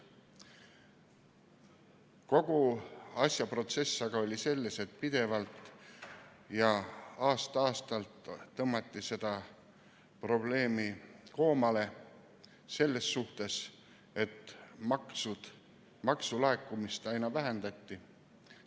Kogu protsess aga oli selles, et pidevalt ja aasta-aastalt tõmmati seda probleemi koomale selles suhtes, et maksulaekumist aina vähendati.